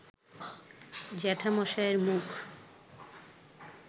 জ্যাঠামশায়ের মুখ